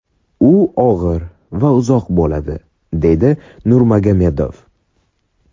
U og‘ir va uzoq bo‘ladi”, deydi Nurmagomedov.